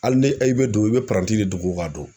Hali ni e be don e i be pranti de dogo ka don